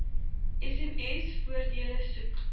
sms voordele soek